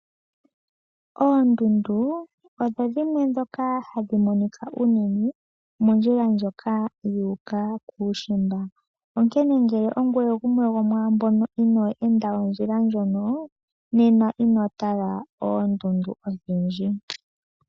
Oondundu odho dhimwe ndhoka hadhi monika unene mondjila ndjoka yu uka kuushimba. Onkene ngele ongweye gumwe gomwaa mbyono inoo enda ondjila ndjono nena ino tala oondundu odhindji.